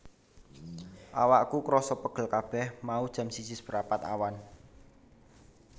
Awakku kroso pegel kabeh mau jam siji seprapat awan